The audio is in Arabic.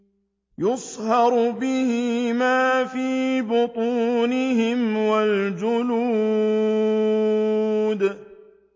يُصْهَرُ بِهِ مَا فِي بُطُونِهِمْ وَالْجُلُودُ